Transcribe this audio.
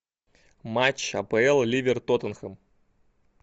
матч апл ливер тоттенхэм